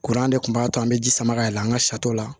Kuran de kun b'a to an bɛ ji sama ka yɛlɛ an ka sariw la